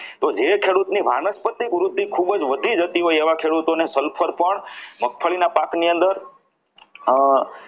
તો એ ખેડૂતની વાનક વાનસ્પતિક વૃદ્ધિ ખૂબ જ વધી જતી હોય એવા ખેડૂતોને sulphur પણ મગફળીના પાકની અંદર જે